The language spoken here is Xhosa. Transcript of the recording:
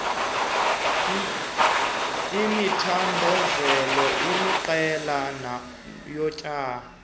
imithandelo eliqela yomtya